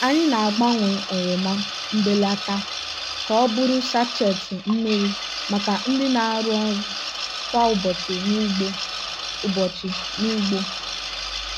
anyị na-agbanwe oroma mbelata ka ọ bụrụ sachet mmiri maka ndị na-arụ ọrụ kwa ụbọchị n'ugbo. ụbọchị n'ugbo.